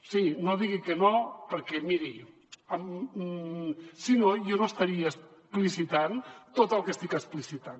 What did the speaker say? sí no digui que no perquè miri si no jo no estaria explicitant tot el que estic explicitant